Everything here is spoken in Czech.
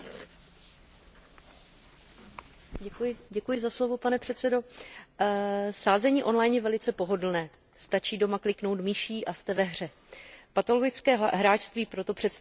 Pane předsedající, sázení on line je velice pohodlné, stačí doma kliknout myší a jste ve hře. Patologické hráčství proto představuje obrovské riziko a jeho společenské náklady jsou enormní.